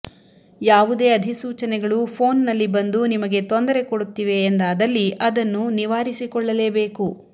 ಯಾವುದೇ ಅಧಿಸೂಚನೆಗಳು ಫೋನ್ನಲ್ಲಿ ಬಂದು ನಿಮಗೆ ತೊಂದರೆ ಕೊಡುತ್ತಿವೆ ಎಂದಾದಲ್ಲಿ ಅದನ್ನು ನಿವಾರಿಸಿಕೊಳ್ಳಲೇಬೇಕು